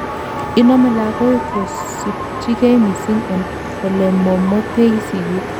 inomei lagok kosobchingei missing en olemomotei sigik